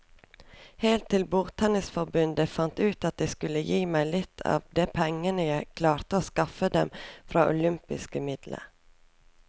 Helt til bordtennisforbundet fant ut at de skulle gi meg litt av de pengene jeg klarte å skaffe dem fra olympiske midler.